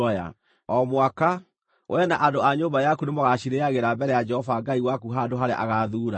O mwaka, wee na andũ a nyũmba yaku nĩmũgacirĩĩagĩra mbere ya Jehova Ngai waku handũ harĩa agaathuura.